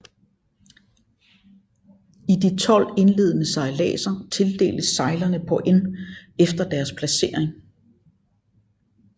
I de 12 indledende sejladser tildeles sejlerne points efter deres placering